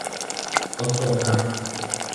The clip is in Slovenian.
Odsotna.